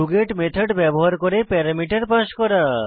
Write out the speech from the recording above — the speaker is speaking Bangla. ডগেট মেথড ব্যবহার করে প্যারামিটার পাস করা